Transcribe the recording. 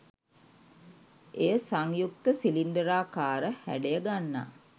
එය සංයුක්ත සිලින්ඩරාකාර හැඩය ගන්නා